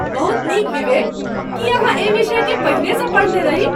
बहुत नीक विवेक! की अहाँ एहि विषयकेँ पहिनेसँ पढ़ने रही?